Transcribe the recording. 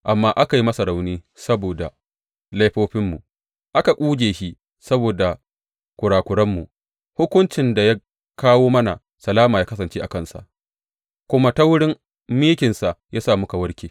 Amma aka yi masa rauni saboda laifofinmu, aka ƙuje shi saboda kurakuranmu; hukuncin da ya kawo mana salama ya kasance a kansa, kuma ta wurin mikinsa ya sa muka warke.